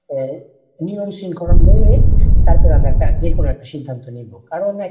আহ নিয়ম শৃঙ্খলা মেনে তারপরে আমরা একটা যেকোনো একটা সিদ্ধান্ত নেবো, কারণ